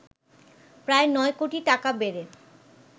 প্রায় ৯ কোটি টাকা বেড়ে